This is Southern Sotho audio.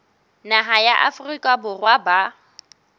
naha ya afrika borwa ba